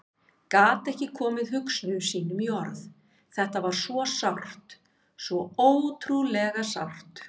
Gat ekki komið hugsunum sínum í orð, þetta var svo sárt, svo ótrúlega sárt.